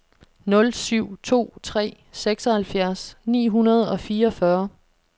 nul syv to tre seksoghalvfjerds ni hundrede og fireogfyrre